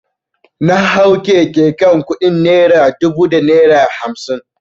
Na hau keke kan kudi naira dubu da naira hamsin.